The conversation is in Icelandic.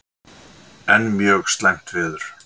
Enn mjög slæmt veður